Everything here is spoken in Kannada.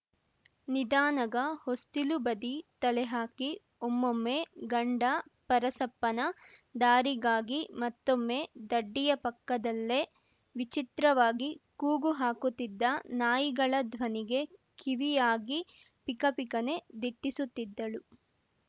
ನಿಧಾನಗ ಹೊಸ್ತಿಲು ಬದಿ ತಲೆಹಾಕಿ ಒಮ್ಮೊಮ್ಮೆ ಗಂಡ ಪರಸಪ್ಪನ ದಾರಿಗಾಗಿ ಮತ್ತೊಮ್ಮೆ ದಡ್ಡಿಯ ಪಕ್ಕದಲ್ಲೇ ವಿಚಿತ್ರವಾಗಿ ಕೂಗು ಹಾಕುತಿದ್ದ ನಾಯಿಗಳ ಧ್ವನಿಗೆ ಕಿವಿಯಾಗಿ ಪಿಕ ಪಿಕನೇ ದಿಟ್ಟಿಸುತ್ತಿದ್ದಳು